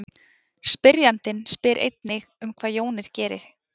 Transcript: Spyrjandinn spyr einnig um hvað jónir geri.